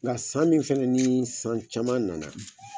Nka san min fana ni san caman nana